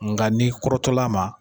Nka ni kɔrɔtɔla a ma